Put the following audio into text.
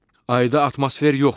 Ayda atmosfer yoxdur.